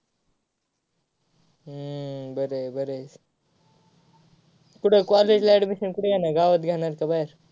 हम्म बर आहे बर आहे. कूट college ला admission कूट घेणार गावात घेणार का बाहेर?